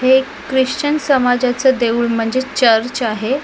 हे एक ख्रिश्चन समाजाचे देऊळ म्हणजे चर्च आहे.